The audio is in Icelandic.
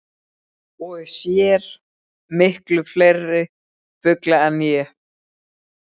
Og sér miklu fleiri fugla en ég.